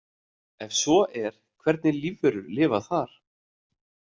Ef svo er hvernig lífverur lifa þar?